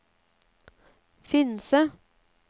Finse